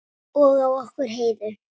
Og á okkur Heiðu.